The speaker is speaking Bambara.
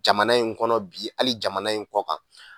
Jamana in kɔnɔ bi hali jamana in kɔ kan